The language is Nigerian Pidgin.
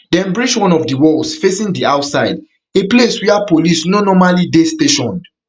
dem breach one of di walls facing di outside a place wia police no normally dey stationed